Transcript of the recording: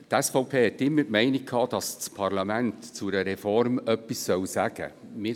Die SVP hatte immer die Meinung, dass das Parlament zu einer Reform etwas sagen soll.